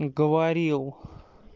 уговорил